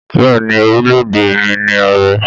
Bẹ́ẹ̀ ni, orílẹ̀-èdè mi ní ààrẹ.